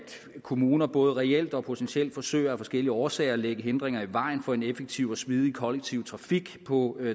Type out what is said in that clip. kommuner både reelt og potentielt forsøger af forskellige årsager at lægge hindringer i vejen for en effektiv og smidig kollektiv trafik på